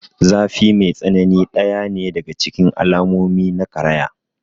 Zafi mai tsanani ɗaya ne daga cikin alamomi na karaya.